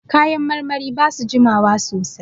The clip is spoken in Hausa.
Kayan marmari ba su jima wa sosai.